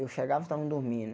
Eu chegava e estavam dormindo.